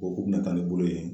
Ko kun bi na taa ni bolo ye